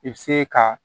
I bɛ se ka